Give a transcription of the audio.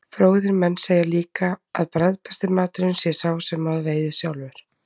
Fróðir menn segja líka að bragðbesti maturinn sé sá sem maður veiðir sjálfur.